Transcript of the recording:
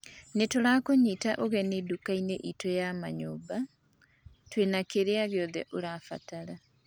Nĩ tũrakũnyita ũgeni dukaini itũ ya manyũmba. Twĩna kĩrĩa giothe ũrabatara.